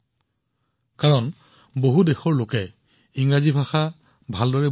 পৃথিৱীত এনে বহুতো দেশ আছে যত ইংৰাজী কোৱা নহয় বা বুজি পোৱা নাযায়